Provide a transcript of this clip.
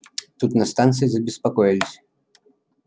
тут на станции забеспокоились